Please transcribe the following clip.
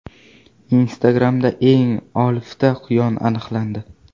Instagram’da eng olifta quyon aniqlandi.